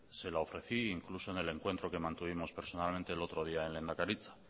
se la ofrecí incluso en el encuentro que mantuvimos personalmente el otro día en lehendakaritza